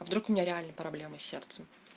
а вдруг у меня реально проблемы с сердцем